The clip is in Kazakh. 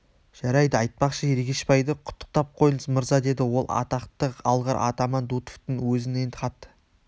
жарайды айтпақшы ергешбайды құттықтап қойыңыз мырза деді ол атақты алғыр атаман дутовтың өзінен хат